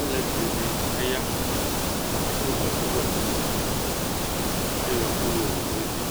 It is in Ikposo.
Alʋɛdìní aya Adu ɛku wɛ nʋ ʋti Ayɔ ɛku yɔwu nʋ evi